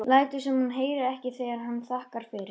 Lætur sem hún heyri ekki þegar hann þakkar fyrir.